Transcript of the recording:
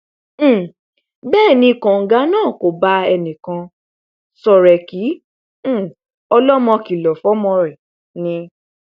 um bẹẹ ni kóńgá náà kò bá ẹnìkan ṣọrẹ kí um ọlọmọ kìlọ fọmọ rẹ ni